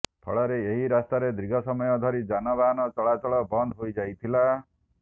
ଫଳରେ ଏହି ରାସ୍ତାରେ ଦୀର୍ଘ ସମୟ ଧରି ଯାନବାହନ ଚଳାଚଳ ବନ୍ଦ ହୋଇଯାଇଥିଲା